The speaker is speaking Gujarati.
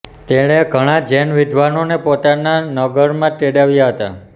તેણે ઘણાં જૈન વિદ્વાનોને પોતાના નગરમાં તેડાવ્યા હતા